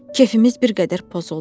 Kefimiz bir qədər pozuldu.